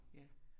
Ja